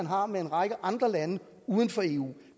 har med andre lande uden for eu